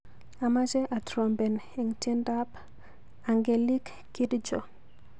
Amache atrompen eng tyendap Angelique Kidjo.